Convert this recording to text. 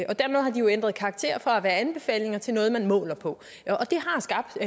og dermed har de jo ændret karakter fra at være anbefalinger til noget man måler på